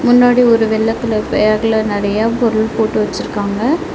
முன்னாடி ஒரு வெள்ள கலர் பேக்ல நறைய பொருள் போட்டு வெச்சிருக்காங்க.